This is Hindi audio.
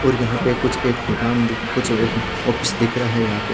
और यहाँ पे कुछ एक दूकान दूकान कुछ आवेग ऑफिस दिख रहा है यहाँ पे--